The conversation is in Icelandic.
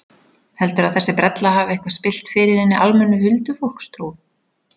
Heldurðu að þessi brella hafi eitthvað spillt fyrir hinni almennu huldufólkstrú?